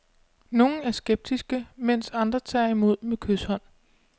Nogle er skeptiske, mens andre tager imod med kyshånd.